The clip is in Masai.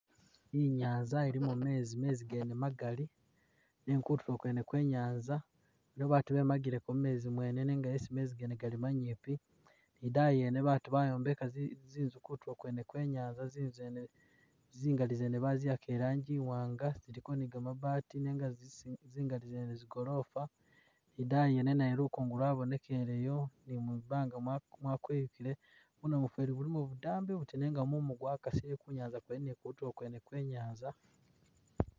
Inyanza ilimo mezi, mezi gene magali nenga kutulo kwene kwe nyanza i liwo batu bemagileko mu muzi mwene nenga esi mezi gene gali manyipi, ni idaayi yene batu bayombeka zinzu kutulo kwene kwe nyanza zinzu zene zingali zene bayiyaka i rangi i wanga ziliko ni gamabati nenga zisi- zingali zene zi gorofa ni idaayi yene nayo lukungu lwabonekeleyo ni mwibanga mwakweyukile bu namufeeli bulimo budambi buti nenga mumu gwakasile ku nyanza kwene ni kutulo kwene kwe nyanza.